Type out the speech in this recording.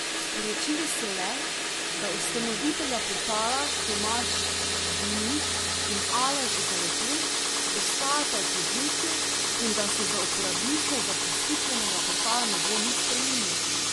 Sporočili so le, da ustanovitelja portala Tomaž Dimnik in Aleš Zaletel ostajata v podjetju in da se za uporabnike zaposlitvenega portala ne bo nič spremenilo.